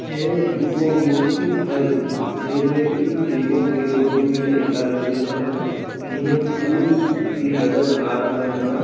ये दुगो मूर्ति हई जे में की एगो के गोदी में एगो आदमी बइठल हई एमे फूल भी नजर आ रहले हन।